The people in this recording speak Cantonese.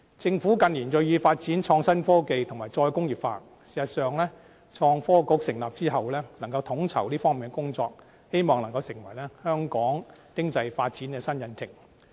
政府近年銳意發展創新科技和再工業化，事實上，創新及科技局成立之後，能夠統籌這方面的工作，希望能夠成為香港經濟發展的新引擎。